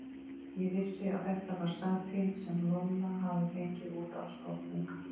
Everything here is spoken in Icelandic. Ég vissi að þetta var satín sem Lolla hafði fengið út á stofnauka.